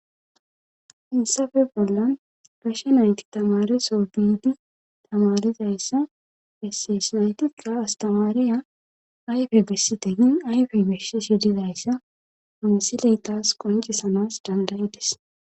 issafe bollan gashe nayti tamareso biidi tamarizayssa esseys naytika astamariya ayfe bessite hin ayfe beshe shedizayssa awsiley taas qoncisanas dandayides